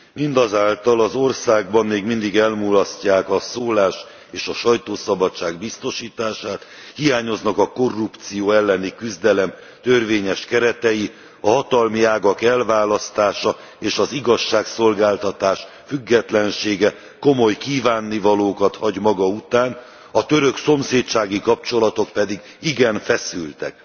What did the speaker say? Mindazonáltal, az országban még mindig elmulasztják a szólás és a sajtószabadság biztosítását, hiányoznak a korrupció elleni küzdelem törvényes keretei, a hatalmi ágak szétválasztása és az igazságszolgáltatás függetlensége komoly kívánnivalókat hagy maga után, a török szomszédsági kapcsolatok pedig igen feszültek.